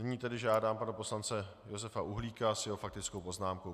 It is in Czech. Nyní tedy žádám pana poslance Josefa Uhlíka s jeho faktickou poznámkou.